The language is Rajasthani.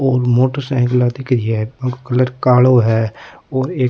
और मोटरसाइकिला दिख रही है बांको कलर कालो है और एक --